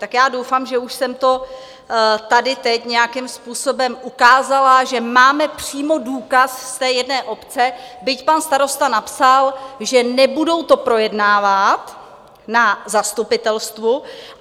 Tak já doufám, že už jsem to tady teď nějakým způsobem ukázala, že máme přímo důkaz z té jedné obce, byť pan starosta napsal, že nebudou to projednávat na zastupitelstvu.